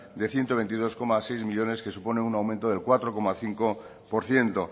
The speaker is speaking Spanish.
de ciento veintidós coma seis millónes que supone un aumento del cuatro coma cinco por ciento